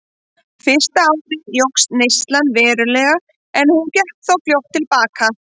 Fyrsta árið jókst neyslan verulega en hún gekk þó fljótt til baka.